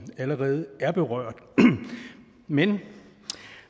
allerede er berørt men